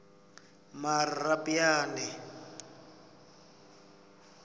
marapyane